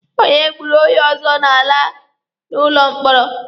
Onye gburu onye ọzọ na-ala n'ụlọ mkpọrọ.